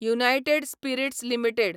United spirits limited